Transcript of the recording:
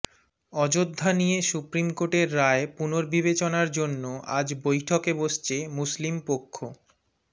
অযোধ্যা নিয়ে সুপ্রিম কোর্টের রায় পুর্নবিবেচনা জন্য আজ বৈঠকে বসছে মুসলিম পক্ষ